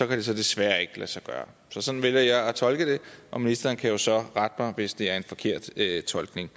det desværre ikke lade sig gøre så sådan vælger jeg at tolke det og ministeren kan jo så rette mig hvis det er en forkert tolkning